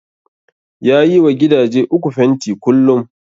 Ya yi wa gidaje uku fenti kullum